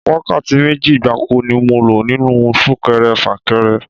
Wákàtí méjì gbáko ni mo lò nínú Sún-kẹrẹ-fà-kẹrẹ